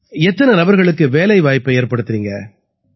எத்தனை நபர்களுக்கு வேலைவாய்ப்பை ஏற்படுத்தறீங்க